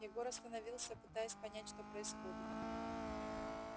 егор остановился пытаясь понять что происходит